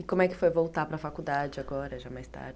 E como é que foi voltar para a faculdade agora, já mais tarde?